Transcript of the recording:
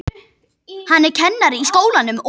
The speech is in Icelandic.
Hann er kennari í skólanum og.